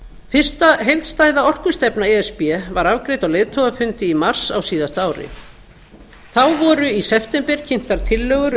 fyrsta heildstæða orkustefna e s b var afgreidd á leiðtogafundi í mars á síðasta ári þá voru í september kynntar tillögur